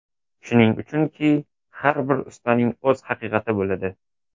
Shuning uchunki, har bir ustaning o‘z haqiqati bo‘ladi.